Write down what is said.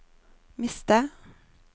miste